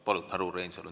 Palun, härra Reinsalu!